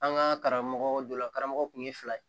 An ka karamɔgɔ dɔ la karamɔgɔ kun ye fila ye